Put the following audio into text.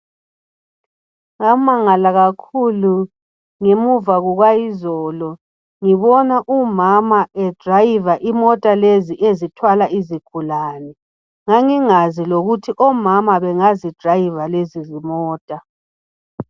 Ngamangala kakhulu ngemva kwayizolo ngibona umama etshayela imota lezi ezithwala izigulane ngangingazi lokuthi omama bengazitshayela lezi zimota.